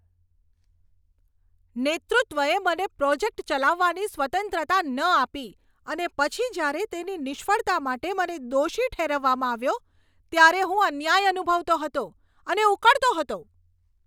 નેતૃત્વએ મને પ્રોજેક્ટ ચલાવવાની સ્વતંત્રતા ન આપી અને પછી જ્યારે તેની નિષ્ફળતા માટે મને દોષી ઠેરવવામાં આવ્યો, ત્યારે હું અન્યાય અનુભવતો હતો અને ઉકળતો હતો.